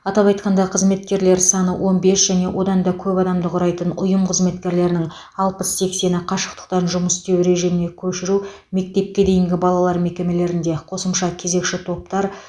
атап айтқанда қызметкерлер саны он бес және одан да көп адамды құрайтын ұйым қызметкерлерінің алпыс сексені қашықтан жұмыс істеу режиміне көшіру мектепке дейінгі балалар мекемелерінде қосымша кезекші топтар